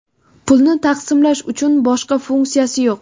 Pulni taqsimlash uchun, boshqa funksiyasi yo‘q.